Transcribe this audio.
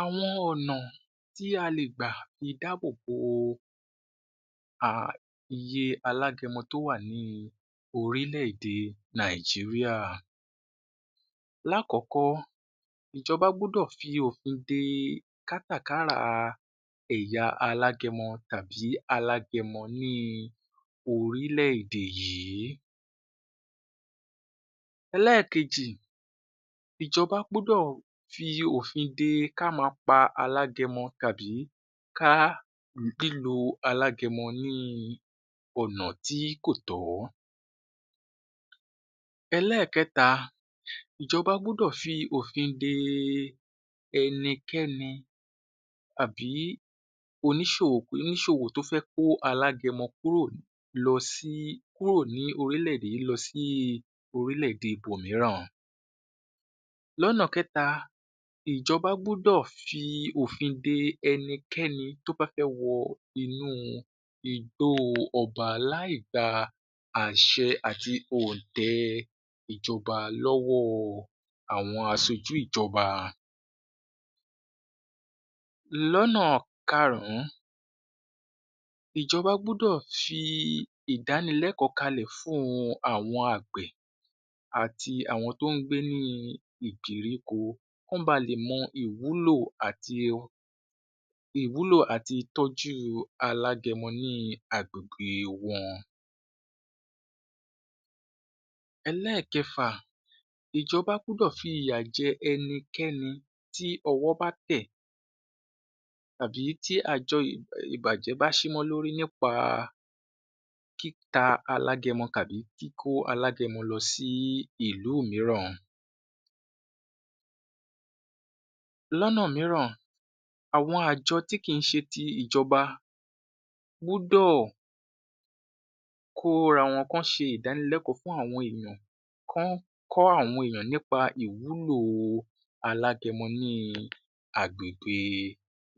Àwọn ọ̀nà tí a lè gbà fi dáàbò bo um iye alágẹmọ tó wà nínú orílẹ̀-èdè Nàìjíríà. Lákọkọ́ọ́, ìjọba gbúdọ̀ fi òfin dé kátàkárà ẹ̀yà alágẹmọ tàbí alágẹmọ ní orílẹ̀-èdè yìí. Ẹlẹ́ẹ̀kejì, ìjọba gbúdọ̀ fí òfin de ká maa pa alágẹmọ tàbí ká lílo alágẹmọ ní ọ̀nà tí kò tọ́. Ẹlẹ́ẹ̀kẹta, ìjọba gbúdọ̀ fi òfin dé ẹnikẹ́ni àbí oníṣòwò, kí oníṣòwò tó fẹ́ kó alágẹmọ kúrò lọ sí, kúrò ní orílẹ̀-èdè yìí lọ sí orílẹ̀-èdè ibòmíràn. Lọnà kéta, ìjọba gbúdọ̀ fi òfin de ẹnikẹ́ni tó bá fẹ́ wọnú igbó láìgba àṣẹ àti óǹtẹ lọ́wọ́ àwọn aṣojú ìjọba. Lọnà karùn-ún, ìjọba gbúdọ̀ fi ìdánilékòó fún àwọn àgbẹ àti àwọn tó ń gbé nínú ìgbèríko kán ba à lè mọ ìwúlò àti, ìwúlò àti tọ́jú alágẹmọ ní agbègbè wọn. Ẹlẹ́ẹ̀kẹfà, ìjọba gbúdọ̀ fi ìyà jẹ ẹnikẹ́ni tí ọwọ́ bá tẹ̀ tàbí tí àjọ um ìbàjẹ́ bá símọ́ lórí nípa títa alágẹmọ tàbí kíkó alágẹmọ lọ sí ìlú ìmíràn lọ́nà míràn, àwọn àjọ tí kìí ń ṣe ti ìjọba gbúdọ̀ kó irawọn kán ṣe ìdánilékòó fún àwọn ènìyàn, kán kọ́ àwọn èèyàn nípa ìwúlò alágẹmọ níi agbègbè